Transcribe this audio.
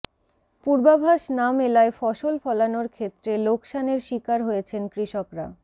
পূর্বাভাস না মেলায় ফসল ফলানোর ক্ষেত্রে লোকসানের শিকার হয়েছেন কৃষকরা